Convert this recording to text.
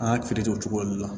An y'a o cogo de la